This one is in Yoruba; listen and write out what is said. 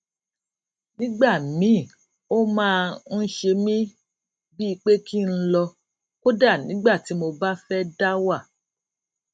nígbà míì ó máa ń ṣe mí bíi pé kí n lọ kódà nígbà tí mo bá fé dá wà